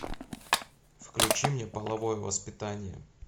включи мне половое воспитание